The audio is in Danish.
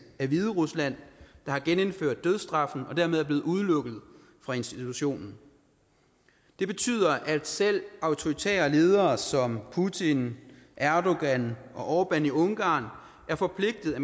er hviderusland der har genindført dødsstraffen hvorfor landet er blevet udelukket fra institutionen det betyder at selv autoritære ledere som putin erdogan og orbán i ungarn er forpligtet